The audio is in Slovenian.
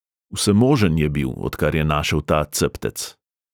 Vsemožen je bil, odkar je našel ta ceptec.